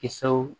Kisɛw